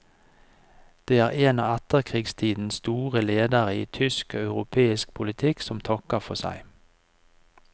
Det er en av etterkrigstidens store ledere i tysk og europeisk politikk som takker for seg.